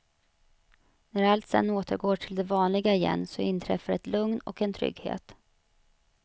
När allt sedan återgår till det vanliga igen så inträffar ett lugn och en trygghet.